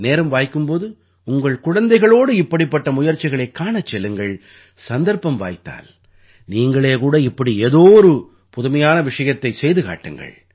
நேரம் வாய்க்கும் போது உங்கள் குழந்தைகளோடு இப்படிப்பட்ட முயற்சிகளைக் காணச் செல்லுங்கள் சந்தர்ப்பம் வாய்த்தால் நீங்களே கூட இப்படி ஏதோ புதுமையான ஒன்றைச் செய்து காட்டுங்கள்